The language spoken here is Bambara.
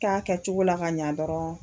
Kan kɛcogo la ka ɲɛ dɔrɔn.